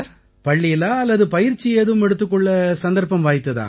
பள்ளியிலா அல்லது பயிற்சி ஏதும் எடுத்துக் கொள்ள சந்தர்ப்பம் வாய்த்ததா